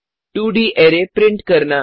2डी array print करना